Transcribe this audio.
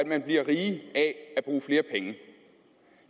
man bliver rig af at bruge flere penge